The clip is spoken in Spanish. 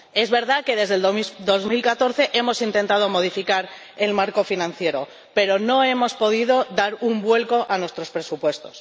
Es verdad que, desde 2014, hemos intentado modificar el marco financiero, pero no hemos podido dar un vuelco a nuestros presupuestos.